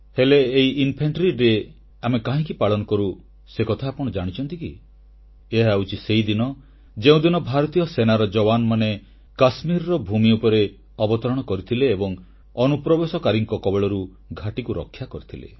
ହେଲେ ଏହି ପଦାତିକ ବାହିନୀ ଦିବସ ଆମେ କାହିଁକି ପାଳନ କରୁ ସେକଥା ଆପଣ ଜାଣିଛନ୍ତି କି ଏହା ହେଉଛି ସେହିଦିନ ଯେଉଁଦିନ ଭାରତୀୟ ସେନାର ଜବାନମାନେ କାଶ୍ମୀରର ଭୂମି ଉପରେ ଅବତରଣ କରିଥିଲେ ଏବଂ ଅନୁପ୍ରବେଶକାରୀଙ୍କ କବଳରୁ ଘାଟିକୁ ରକ୍ଷା କରିଥିଲେ